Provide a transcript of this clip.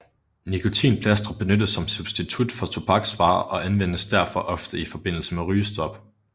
Nikontinplastre benyttes som substitut for tobaksvarer og anvendes derfor ofte i forbindelse med rygestop